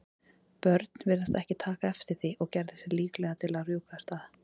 björn virtist ekki taka eftir því og gerði sig líklegan til að rjúka af stað.